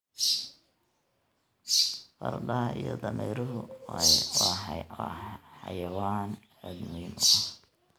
Fardaha iyo dameeruhu waa xayawaan aad muhiim u ah.